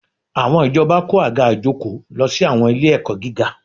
Àwọn ìjọba kó àga ìjókòó lọ sí àwọn ilé-ẹ̀kọ́ gíga